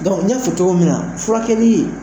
Dɔnku n y'a fɔ cogo min na furakɛkɛli